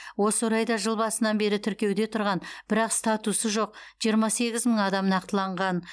осы орайда жыл басынан бері тіркеуде тұрған бірақ статусы жоқ жиырма сегіз мың адам нақтыланған